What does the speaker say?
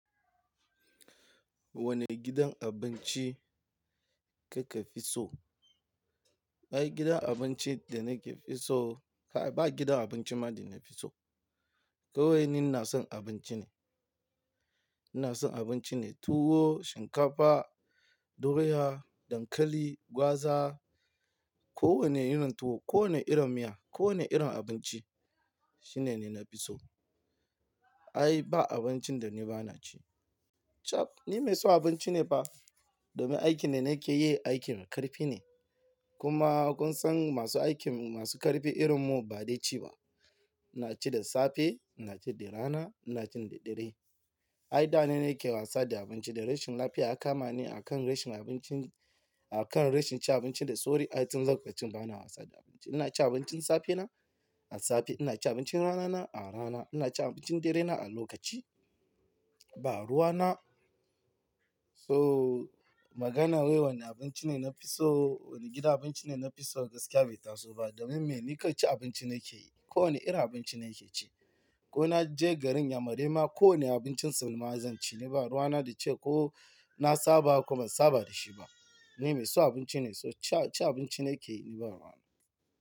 Wane gidan abinci kika fi so? Ai gidan abinci da nake fi so, ba gidan abinci ma da na fi so. Kwai ni ina son abinci ne. Ina son abinci ne tuwo, shinkafa, doya, dankali, gwaza, kowane irin tuwo, kowane irin miya, kowane irin abinci shine ne na fi so. Ai ba abincin da ni ba na ci. Chaf! Ni mai son abinci ne fa, domin aikin da nake yi aikin ƙarfi ne. Kuma kun san masu aikin masu ƙarfi irin mu baɗi ci ba. Na ci da safe, na ci da rana, na ci da dare. Ai da na nake wasa da abinci da rashin lafiya aka ma ni a kan rashin abinci, a kan rashin ci abinci da sauri. Ai tun zagwace ba na wasa da abinci. Ina ci abincin safe na a safe, ina ci abincin rana na a rana, ina ci abincin dare na a lokaci. Ba ruwa na. So maganar wai wane abinci ne na fi so, wane gidan abinci ne na fi so gaskiya bai taso ba domin me? Ni kai ci abinci nake yi. Ko wane irin abinci nake ci. Ko na je garin Yamaraima ko ne abincin su ma zan ci. Ni ba ruwa na da ce ko na saba kuma saba da shi ba. Ni mai son abinci ne, so ci abinci nake yi, ni ba ruwa na.